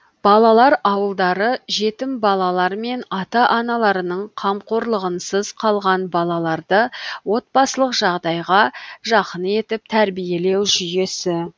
балалар ауылдары жетім балалар мен ата аналарының қамқорлығынсыз калған балаларды отбасылық жағдайға жақын етіп тәрбиелеу жүйесі